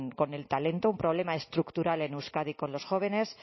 con el talento un problema estructural en euskadi con los jóvenes